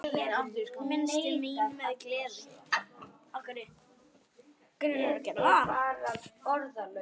Minnist mín með gleði.